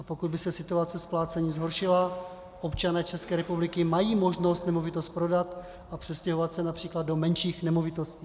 A pokud by se situace splácení zhoršila, občané České republiky mají možnost nemovitost prodat a přestěhovat se například do menších nemovitostí.